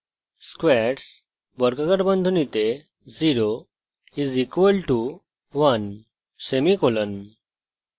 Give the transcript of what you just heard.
squares 0 = 1;